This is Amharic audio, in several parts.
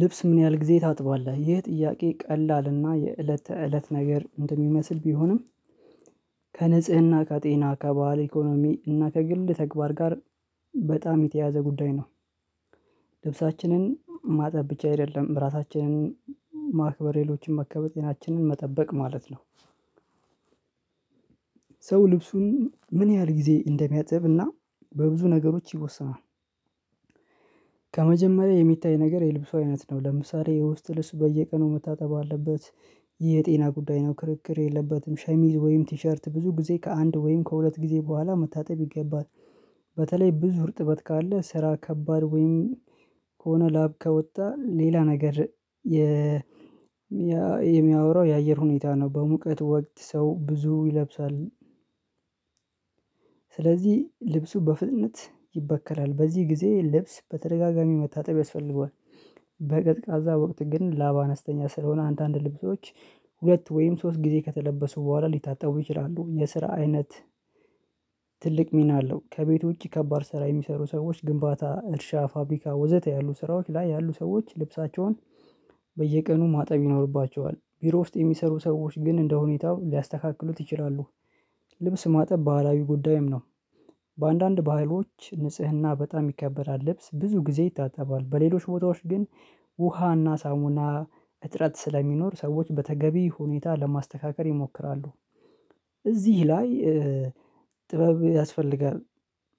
ልብስ ምን ያህል ጊዜ ታጥባለህ? ይህ ጥያቄ ቀላል እና የእለተ ተእለት ነገር እንደሚመስል ቢሆንም ከንጽህና ከጤና ከባህል ኢኮኖሚ እና ከግል ተግባር ጋር በጣም የተያያዘ ጉዳይ ነው። ልብሳችንን ማጠብ ብቻ አይደለም ራሳችንን ማክበር ሌሎችን መከበር ጤናችንን መጠበቅ ማለት ነው። ሰው ልብሱን ምን ያህል ጊዜ እንደሚያጥብ እና በብዙ ነገሮች ይወሰናል። ከመጀመሪያ የሚታይ ነገር የልብሱ አይነት ነው ለምሳሌ የውስጥ ልብስ በየቀኑ መታጠብ አለበት። ይህ የጤና ጉዳይ ነው ክርክር የለበትም። ሸሚዝ ወይም ቲሸርት ብዙ ጊዜ ከአንድ ወይም ከሁለት ጊዜ በኋላ መታጠብ ይገባል። በተለይ ብዙ ርጥበት ካለ ስራ ከባድ ወይም ከሆነ ላብ ከወጣ ሌላ ነገ የ የሚያወራው የአየር ሁኔታ ነው በሙቀት ወቅት ሰው ብዙ ይለብሳል። ስለዚህ ልብሱ በፍጥነት ይበከላል በዚህ ጊዜ ልብስ በተደጋጋሚ መታጠብ ያስፈልገዋል። በቀዝቃዛ ወቅት ግን ላብ አነስተኛ ስለሆነ አንዳንድ ልብሶች ሁለት ወይም ሶስት ጊዜ ከተለበሱ በኋላ ሊታጠቡ ይችላሉ። የስራ አይነት ትልቅ ሚና አለው። ከቤቱ ውጪ ከባድ ስራ የሚሰሩ ሰዎች ግንባታ እርሻ ፋብሪካ ወዘተ ያሉ ስራዎች ላይ ያሉ ሰዎች ልብሳቸውን በየቀኑ ማጠብ ይኖርባቸዋል። ቢሮ ውስጥ የሚሰሩ ሰዎች ግን እንደሁኔታው ሊያስተካክሉት ይችላሉ። ልብስ ማጠብ ባህላዊ ጉዳይም ነው። በአንዳንድ ባህሎች ንጽህና በጣም ይከበራል ልብስ ብዙ ጊዜ ይታጠባል በሌሎች ቦታዎች ግን ውሃና ሳሙና እጥረት ስለሚኖር ሰዎች በተገቢ ሁኔታ ለማስተካከል ይሞክራሉ። እዚህ ላይ ጥበብ ያስፈልጋል።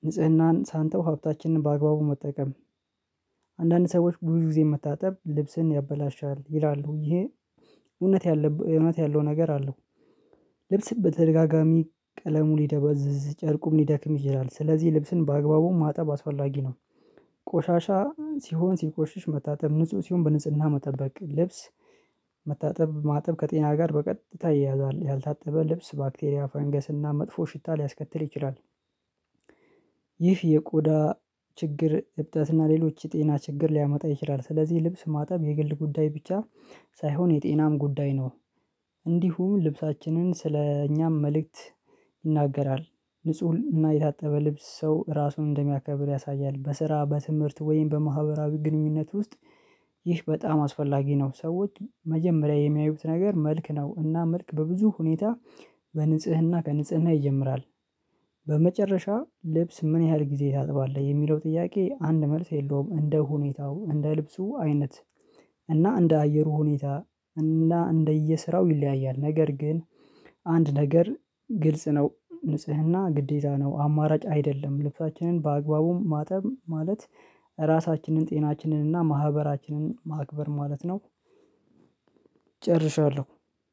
ንጽህናን ሳንተው ሀብታችንን በአግባቡ መጠቀም አንዳንድ ሰዎች ብዙ ጊዜ መታጠብ ልብስን ያበላሻል ይላሉ። ይሄ እውነት ያለብ እውነት ያለው ነገር አለው። ልብስ በተደጋጋሚ ቀለሙ ሊደበዝዝ ጨርቁም ሊደክም ይችላል ስለዚህ ልብስን በአግባቡ ማጠብ አስፈላጊ ነው። ቆሻሻ ሲሆን ሲቆሽሽ መታጠብ ንጹህ ሲሆን በንጽህና መጠበቅ ልብስ መታጠብ ማጠብ ከጤና ጋር በቀጥታ ይያያዛል። ያልታጠበ ልብስ ባክቴሪያ ፈንገስና መጥፎ ሽታ ሊያስከትል ይችላል። ይህ የቆዳ ችግር እብጠት እና ሌሎች የጤና ችግር ሊያመጣ ይችላል። ስለዚህ ልብስ ማጠብ የግል ጉዳይ ብቻ ሳይሆን የጤናም ጉዳይ ነው። እንዲሁም ልብሳችንን ስለ እኛም መልእክት ይናገራል። ንጹህ እና የታጠበ ልብስ ሰው ራሱን እንደሚያከብር ያሳያል። በስራ በትምህርት ወይም በማህበራዊ ግንኙነት ውስጥ ይህ በጣም አስፈላጊ ነው። ሰዎች መጀመሪያ የሚያዩት ነገር መልክ ነው እና መልክ በብዙ ሁኔታ በንጽህና ከንጽህና ይጀምራል። በመጨረሻ ልብስ ምን ያህል ጊዜ ታጥባለህ? የሚለው ጥያቄ አንድ መልስ የለውም። እንደ ሁኔታው እንደ ልብሱ አይነት እና እንደ አየሩ ሁኔታ እና እንደየሥራው ይለያያል። ነገር ግን አንድ ነገር ግልጽ ነው። ንጽህና ግዴታ ነው አማራጭ አይደለም። ልብሳችንን በአግባቡም ማጠብ ማለት ራሳችንን ጤናችንን እና ማህበራችንን ማክበር ማለት ነው። ጨርሻለሁ።